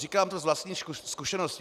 Říkám to z vlastní zkušenosti.